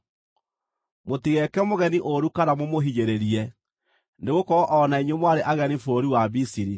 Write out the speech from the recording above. “Mũtigeke mũgeni ũũru kana mũmũhinyĩrĩrie, nĩgũkorwo o na inyuĩ mwarĩ ageni bũrũri wa Misiri.